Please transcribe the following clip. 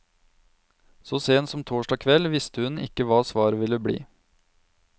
Så sent som torsdag kveld visste hun ikke hva svaret ville bli.